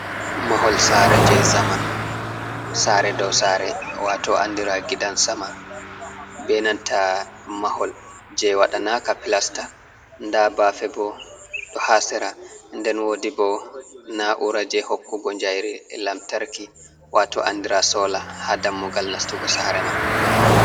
Mahol sare je zamanu sare dow sare wato andira gidan sama benanta mahol je wadanaka plasta, da bafe bo do hasira nden wodi bo na ura je hokkugo jayri elamtarki wato andira sola ha dammugal nastugo sare man.